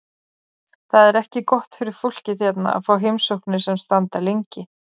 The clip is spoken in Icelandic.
Það er ekki gott fyrir fólkið hérna að fá heimsóknir sem standa lengi.